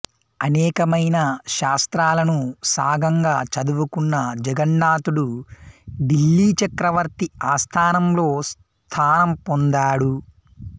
అనేకమైన శాస్త్రాలను సాంగంగా చదువుకున్న జగన్నాథుడు ఢిల్లీచక్రవర్తి ఆస్థానంలో స్థానం పొందాడు